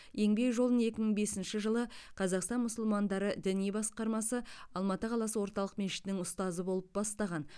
еңбек жолын екі мың бесінші жылы қазақстан мұсылмандары діни басқармасы алматы қаласы орталық мешітінің ұстазы болып бастаған